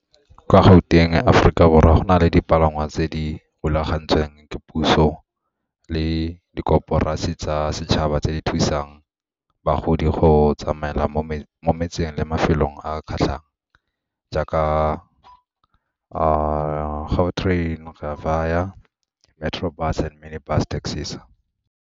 Kwa Gauteng, Aforika Borwa, go na le dipalangwa tse di rulagantsweng ke puso le tsa setšhaba tse di thusang bagodi go tsamaela mo mafelong a kgatlhang jaaka Gautrain, Rea Vaya, Metro Bus and mini bus taxis.